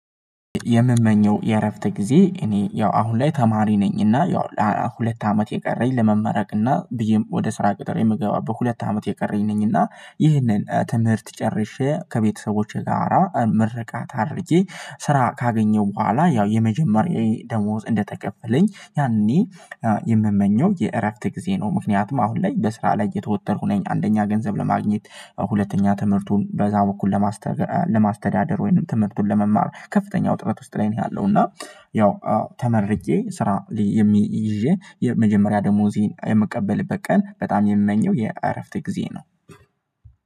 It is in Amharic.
የምመኘው የእረፍት ጊዜ እኔ ያው አሁን ላይ ተማሪ ነኝና ያው ሁለት አመት የቀረኝ ለመመረቅና ብዬም ወደ ስራ ቅጥር የምገባው በሁለት አመት የቀረኝ ነኝ እና ይህንን ትምህርት ጨርሼ ከቤተሰቦቼ ጋራ ምርቃት አድርጌ ስራ ካገኘሁ በኋላ ያው የመጀመሪያዬ ደሞዝ እንደተከፈለኝ ያኔ የምመኘው የእረፍት ጊዜ ነው። ምክንያቱም አሁን ላይ በስራ ላይ የተወጠርኩኝ ነኝ አንደኛ ገንዘብ ለማግኘት ያው ሁለተኛ ትምህርቱን በዛው በኩል ለማስተዳደር ወይንም ትምህርቱን ለመማር ከፍተኛ ውጥረት ውስጥ ላይ ነው ያለው እና። ያው ተመርቄ ስራ የሚይዤ የመጀመሪያ ደሞዜን የምቀበልበት ቀን በጣም የምመኘው የአረፍቴ ጊዜ ነው።